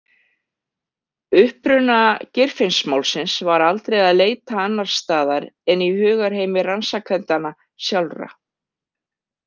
Uppruna Geirfinnsmálsins var aldrei að leita annars staðar en í hugarheimi rannsakendanna sjálfra.